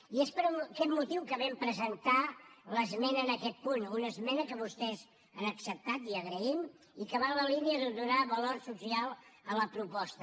i és per aquest motiu que vam presentar l’esmena en aquest punt una esmena que vostès han acceptat i ho agraïm i que va en la línia de donar valor social a la proposta